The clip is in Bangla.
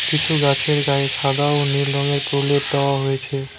কিছু গাছের গায়ে সাদা ও নীল রঙের প্রলেপ দেওয়া হয়েছে।